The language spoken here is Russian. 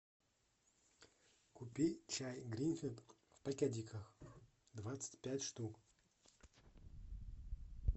купи чай гринфилд в пакетиках двадцать пять штук